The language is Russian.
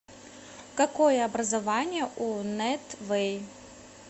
какое образование у нэт вэй